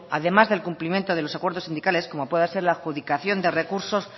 además del cumplimiento de los acuerdos sindicales como puede ser la adjudicación de recursos